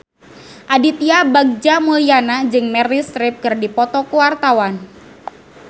Aditya Bagja Mulyana jeung Meryl Streep keur dipoto ku wartawan